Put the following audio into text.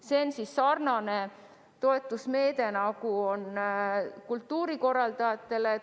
See on sarnane toetusmeede, nagu on ette nähtud kultuurikorraldajatele.